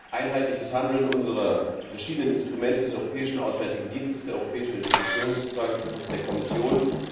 einheitliches Handeln unserer verschiedenen Instrumente, des Europäischen Auswärtigen Dienstes, der Europäischen Investitionsbank und der Kommission.